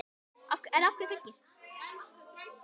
En af hverju Fylkir?